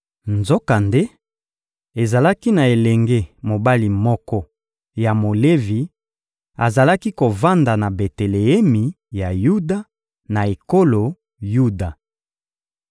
Nzokande, ezalaki na elenge mobali moko ya Molevi, azalaki kovanda na Beteleemi ya Yuda, na ekolo Yuda.